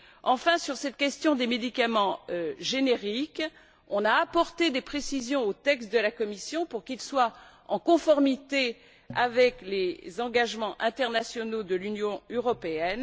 Enfin, sur la question des médicaments génériques, on a apporté des précisions au texte de la Commission pour qu'il soit en conformité avec les engagements internationaux de l'Union européenne.